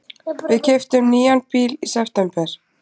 Við keyptum nýjan bíl í september.